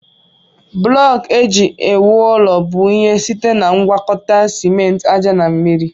Blọku eji ewu ụlọ bụ ihe site na ngwakọta simenti, aja na mmiri.